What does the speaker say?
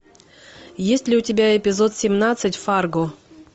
есть ли у тебя эпизод семнадцать фарго